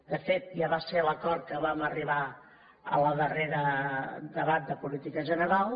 de fet ja va ser l’acord a què vam arribar en el darrer debat de política general